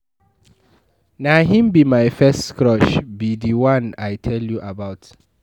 Na him be my first crush, be the one I tell you about